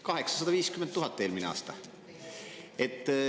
850 000 eurot eelmisel aastal.